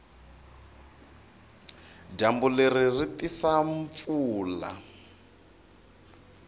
dyambu leri ri tisa mpfula